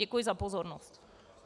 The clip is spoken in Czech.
Děkuji za pozornost.